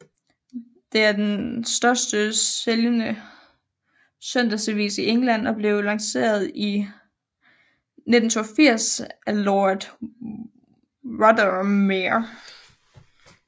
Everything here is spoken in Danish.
Det er den største sælgende søndagsavis i England og blev lanceret i 1982 af Lord Rothermere